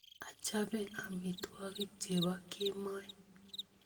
Achape amitwokik chepo kemoi